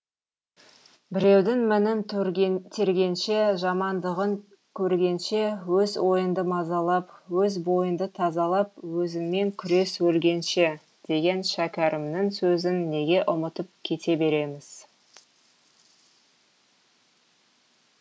біреудің мінін тергенше жамандығын көргенше өз ойыңды мазалап өз бойыңды тазалап өзіңмен күрес өлгенше деген шәкәрімнің сөзін неге ұмытып кете береміз